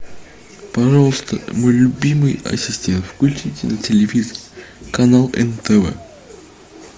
пожалуйста мой любимый ассистент включите на телевизоре канал нтв